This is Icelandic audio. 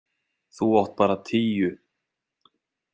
Þú átt bara tíu.